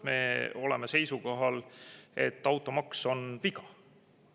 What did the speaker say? Me oleme seisukohal, et automaks on viga.